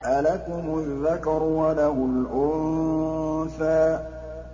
أَلَكُمُ الذَّكَرُ وَلَهُ الْأُنثَىٰ